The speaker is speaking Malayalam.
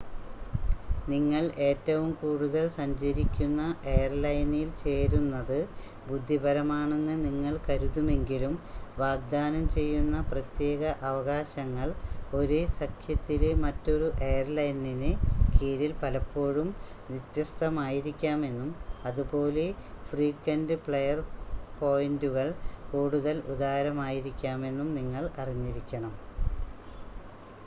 നിങ്ങൾ ഏറ്റവും കൂടുതൽ സഞ്ചരിക്കുന്ന എയർലൈനിൽ ചേരുന്നത് ബുദ്ധിപരമാണെന്ന് നിങ്ങൾ കരുതുമെങ്കിലും വാഗ്‌ദാനം ചെയ്യുന്ന പ്രത്യേക അവകാശങ്ങൾ ഒരേ സഖ്യത്തിലെ മറ്റൊരു എയർലൈനിന് കീഴിൽ പലപ്പോഴും വ്യത്യസ്ഥമായിരിക്കാമെന്നും അതുപോലെ ഫ്രീക്വൻ്റ് ഫ്ലയർ പോയിൻ്റുകൾ കൂടുതൽ ഉദാരമായിരിക്കാമെന്നും നിങ്ങൾ അറിഞ്ഞിരിക്കണം